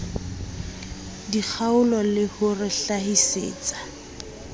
dikgaolo le ho re hlahisetsa